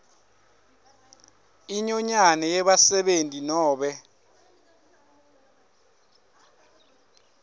inyonyane yebasebenti nobe